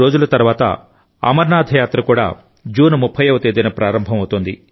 నాలుగు రోజుల తర్వాత అమర్నాథ్ యాత్ర కూడా జూన్ 30వ తేదీన ప్రారంభం అవుతోంది